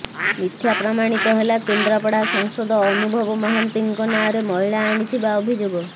ମିଥ୍ୟା ପ୍ରମାଣିତ ହେଲା କେନ୍ଦ୍ରାପଡ଼ା ସାଂସଦ ଅନୁଭବ ମହାନ୍ତିଙ୍କ ନାଁରେ ମହିଳା ଆଣିଥିବା ଅଭିଯୋଗ